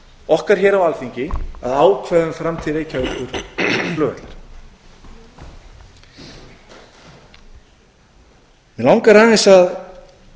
okkar hér á alþingi að ákveða um framtíð reykjavíkurflugvallar mig langar aðeins að